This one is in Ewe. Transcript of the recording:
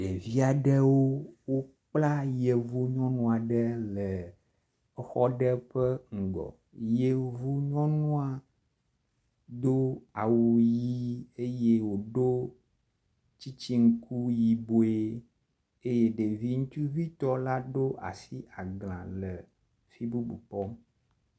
Ɖevi aɖewo wokpla yevu nyɔnu ɖe le exɔ ɖe ƒe ŋgɔ. Yevu nyɔnua do awu ʋi eye wodo tsitsiŋkui yibɔe eye ɖevi ŋutsuvitɔ la ɖo asi agla le fi bubu kpɔm.